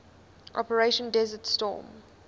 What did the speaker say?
operation desert storm